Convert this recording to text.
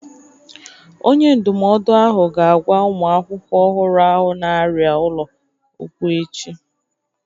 Onye ndụmọdụ ahụ ga-agwa ụmụ akwụkwọ ọhụrụ ahụ na-arịa ụlọ okwu echi